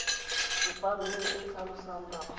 tsepameng e e tlhalosang nako